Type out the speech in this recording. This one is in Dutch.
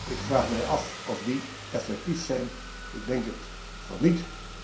Ik vraag mij af of die effectief zijn, ik denk van niet.